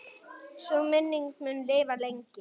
Sú minning mun lifa lengi.